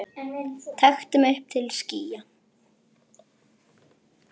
taktu mig upp til skýja